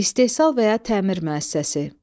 İstehsal və ya təmir müəssisəsi.